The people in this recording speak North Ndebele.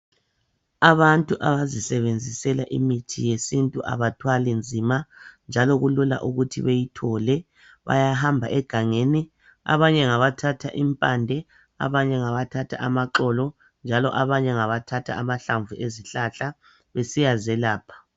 Abantu abazisebenzisela imithi yesintu abathwali nzima njalo kulula ukuthi beyithole bayahamba egangeni abanye ngabathatha impande abanye ngabathatha amaxolo njalo abanye ngabathatha amahlamvu ezihlahla besiya zelapha.